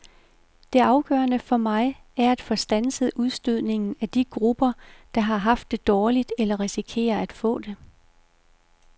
Det afgørende for mig er at få standset udstødningen af de grupper, der har haft det dårligt eller risikerer at få det.